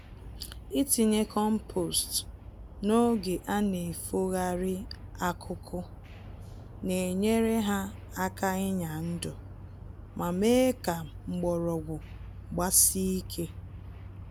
Itinye kompost n'oge anefogharị akụkụ, na enyere ha aka ịnya ndụ, ma mee ka mgbọrọgwụ gbasie ike.